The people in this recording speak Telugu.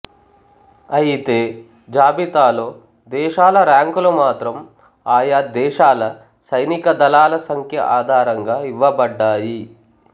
అయితే జాబితాలో దేశాల ర్యాంకులు మాత్రం ఆయా దేశాల సైనిక దళాల సంఖ్య ఆధారంగా ఇవ్వబడ్డాయి